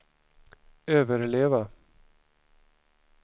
överleva